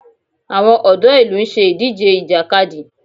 Àwọn ọ̀dọ́ ìlú ń ṣe idije Ìjàkadì